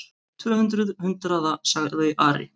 Tvö hundruð hundraða, sagði Ari.